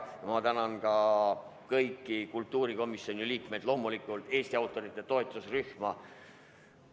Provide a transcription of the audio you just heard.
Ja ma tänan ka kõiki kultuurikomisjoni liikmeid ja loomulikult Eesti autorite toetusrühma.